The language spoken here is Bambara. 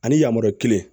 Ani yamaruya kelen